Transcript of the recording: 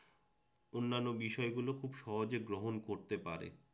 অন্যান্য বিষয়গুলো খুব সহজে গ্রহণ করতে পারে